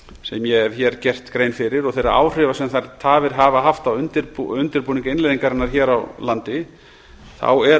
sem ég hef hér gert grein fyrir og þeirra áhrifa sem þær tafir hafa haft á undirbúning innleiðingarinnar hér á landi er